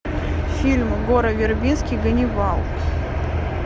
фильм гора вербински ганнибал